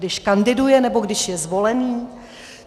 Když kandiduje, nebo když je zvolený?